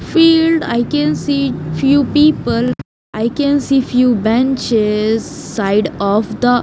field i can see few people i can see few benches side of the --